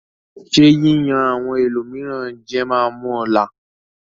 Ṣé yíyan àwọn ẹlòmíràn jẹ máa mú ọ là?